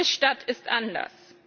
Jede Stadt ist anders.